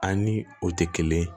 An ni o tɛ kelen ye